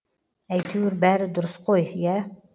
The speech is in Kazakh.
әйтеуір бәрі дұрыс қой иә